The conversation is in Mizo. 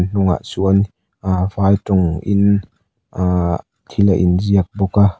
a hnungah chuan ah vai tawng in ah thil a in ziak bawk a.